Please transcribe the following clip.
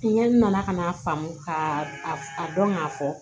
N ɲɛ na ka n'a faamu k'a dɔn k'a fɔ